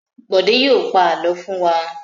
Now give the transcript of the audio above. Bọ̀dé yóò pa àlọ́ fún wa!